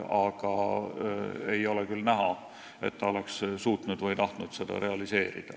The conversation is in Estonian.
Aga ei ole küll näha, et ta oleks suutnud või tahtnud seda realiseerida.